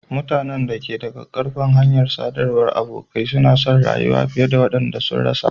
Mutanen da ke da ƙaƙƙarfan hanyar sadarwar abokai suna son rayuwa fiye da waɗanda sun rasa.